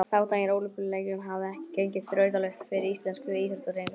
Þátttakan í Ólympíuleikunum hafði ekki gengið þrautalaust fyrir íslensku íþróttahreyfinguna.